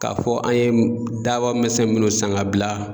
K'a fɔ an ye daba misɛn munnu san k'a bila